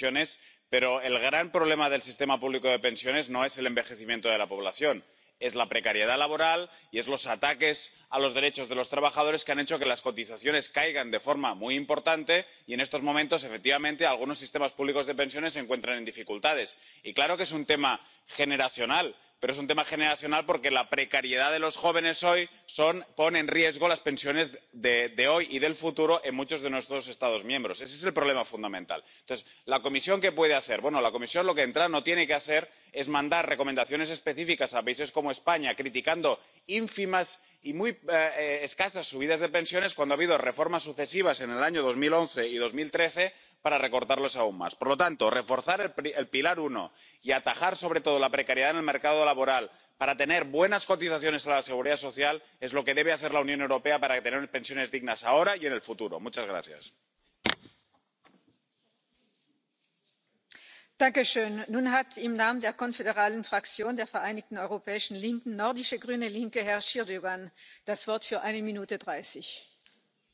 It is, after all, the private sector that generates the taxes, the price we pay for a civilised society, and high grade public services run by first class public sector workers who knew that, barring economic catastrophe, they had a job for life. Now we have a complete reversal of the situation. Public sector pensions are protected, incredibly generous and yet horrifyingly unfunded. The money has got to come from somewhere, and no government has been honest enough to say where or even speculate if these promises will be met. Private sector pensions in Britain were the gold standard. That was until Gordon Brown raided them in the early Blair years and abolished the tax relief that pension funds earned on dividends from stock market investment. That was the end of final salary and many successful private pensions in Britain. Those now relying on the state pension can look on and see one of the worst in the developed world and one that they will have to work longer to see. In 2011, the coalition government introduced plans that were never in any manifesto voted on to increase the retirement age of women. This has brought about the Women Against State Pension Inequality campaign, a cause I completely support. To rush ahead proposals life-changing plans without adequate consultation and without